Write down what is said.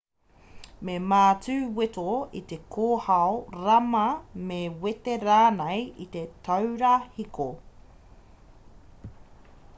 me mātu weto i te kōhao rama me wete rānei i te taura hiko